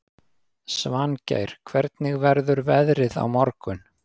Svangeir, hvernig verður veðrið á morgun?